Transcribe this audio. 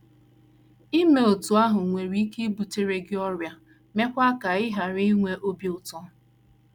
Ime otú ahụ nwere ike ibutere gị ọrịa, meekwa ka ị ghara inwe ị ghara inwe obi ụtọ.